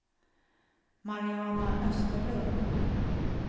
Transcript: Mariana Österlund